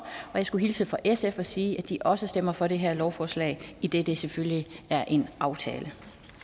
og jeg skulle hilse fra sf og sige at de også stemmer for det her lovforslag idet det selvfølgelig er en aftale